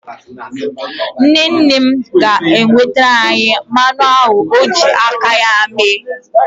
Nne nne m ga-ewetara anyị mmanụ aṅụ ọ ji aka ya mee.